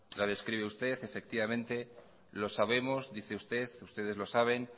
la describe usted lo sabemos dice usted ustedes lo saben